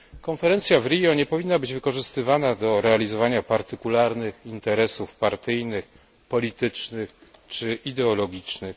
Konferencja w Rio nie powinna być wykorzystywana do realizowania partykularnych interesów partyjnych, politycznych czy ideologicznych.